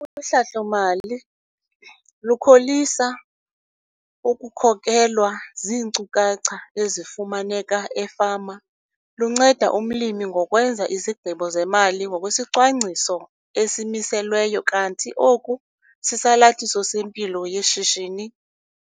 Uhlahlo-mali, lukholisa ukukhokelwa ziinkcukacha ezifumaneka efama, lunceda umlimi ngokwenza izigqibo zemali ngokwesicwangciso esimiselweyo kanti oku sisalathisi sempilo yeshishini.